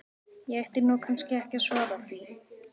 Ég ætti nú kannski ekki að svara því.